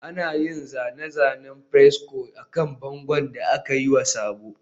Ana yin zane-zanen fresco akan bangon da aka yi wa sabo